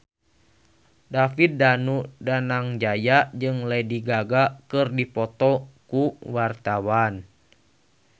David Danu Danangjaya jeung Lady Gaga keur dipoto ku wartawan